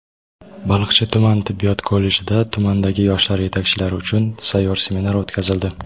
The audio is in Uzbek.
Baliqchi tuman tibbiyot kollejida tumandagi yoshlar yetakchilari uchun sayyor seminar o‘tkazildi.